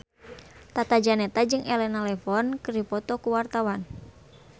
Tata Janeta jeung Elena Levon keur dipoto ku wartawan